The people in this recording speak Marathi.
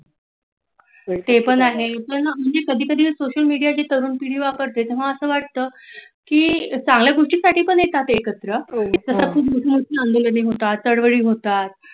ते पण आहे पण कधी कधी सोशल मिडिया तरुण पिढी वापरते तेव्हा असं वाटतं की चांगल्या गोष्टींसाठी पण येतात एकत्र आंदोलन होतात चाळूवली होतात तलपड़ी होतात.